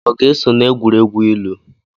Ọ ga-eso na egwuregwu ilu?